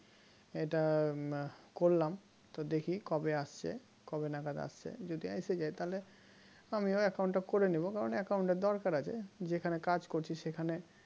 এটা করলাম তো দেখি কবে আসছে কবে নাগাদ আসছে যদি এসে যায় তাহলে আমিও account টা করে নেব কারণ account এর দরকার আছে যেখানে কাজ করছি সেখানে